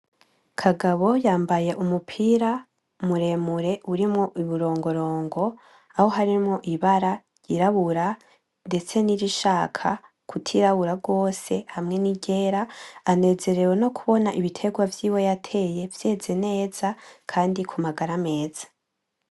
KAGABO yambaye umupira muremure urimwo uburongorongo, Aho harimwo ibara ryirabura ndetse nirishaka kutirabura gose, hamwe n'iryera anezerewe no kubona ibiterwa vyiwe yateye vyeze neza ,kandi kumagara meza.